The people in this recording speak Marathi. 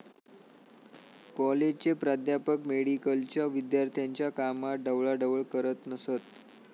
कॉलेजचे प्राध्यापक मेडिकलच्या विद्यार्थ्यांच्या कामात ढवळाढवळ करत नसत